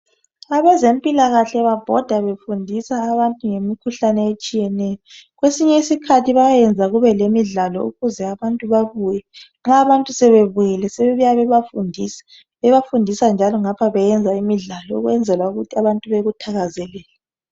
Abezempilakahle babhoda befundisa abantu ngamikhuhlane etshiyeneyo. Kwesinye isikhathi bayayenza kube lemidlalo ukuze abantu babuye. Nxa abantu sebebuyile sebebuya bebafundisa. Bebafundisa njalo ngapha beyenza imidlalo okwenzela ukuthi abantu bekuthakazelele.